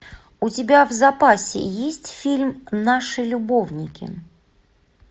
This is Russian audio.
у тебя в запасе есть фильм наши любовники